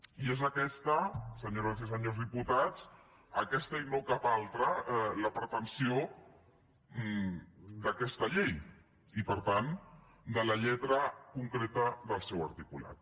i és aquesta senyores i senyors diputats aquesta i no cap altra la pretensió d’aquesta llei i per tant de la lletra concreta del seu articulat